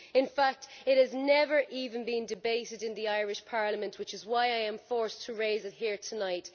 In fact, it has never even been debated in the Irish Parliament, which is why I am forced to raise it here tonight.